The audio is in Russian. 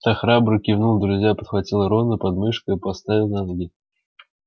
та храбро кивнула друзья подхватили рона под мышки и поставили на ноги